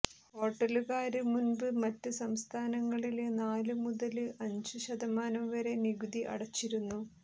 ഹോട്ടലുകാര് മുമ്പ് മറ്റ് സംസ്ഥാനങ്ങളില് നാലു മുതല് അഞ്ചു ശതമാനം വരെ നികുതി അടച്ചിരുന്നു